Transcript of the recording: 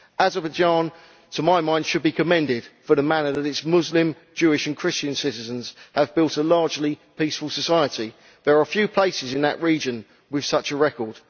Azerbaijan, to my mind, should be commended for the manner in which its Muslim, Jewish and Christian citizens have built a largely peaceful society. There are few places in that region with such a record.